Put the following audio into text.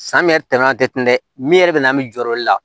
San bɛ tɛmɛ a tɛ min yɛrɛ bɛ na min jɔ olu la